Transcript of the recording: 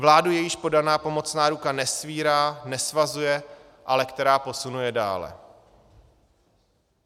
Vládu, jejíž podaná pomocná ruka nesvírá, nesvazuje, ale která posunuje dále.